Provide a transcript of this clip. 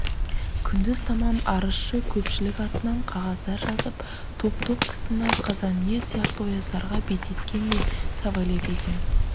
күндіз тамам арызшы көпшілік атынан қағаздар жазып топ-топ кісіні қазанңев сияқты ояздарға беттеткен де савельев екен